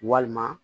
Walima